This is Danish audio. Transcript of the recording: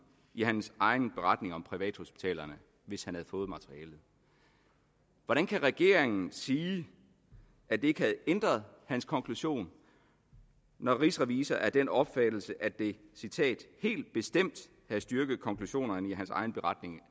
i hans egen beretning om privathospitalerne hvis han har fået materialet hvordan kan regeringen sige at det ikke havde ændret hans konklusion når rigsrevisor er af den opfattelse at det helt bestemt havde styrket konklusionerne i hans egen beretning